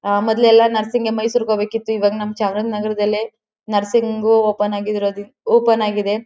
ಮೊದ್ಲಯೆಲಾ nursing ಗೆ ಮೈಸೂರ್ ಗೆ ಹೋಗ್ಬೇಕ್ ಇತ್ತು ಇವಾಗ ನಮ ಚಾಮರಾಜನಗರದಲ್ಲೇ ನರ್ಸಿಂಗ್ ಓಪನ್ ಅಗಿದ್ರೋ ಓಪನ್ ಆಗಿದೆ.